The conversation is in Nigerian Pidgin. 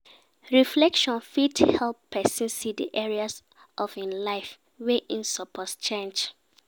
Reflection fit help pesin see di areas of im life wey im suppose change.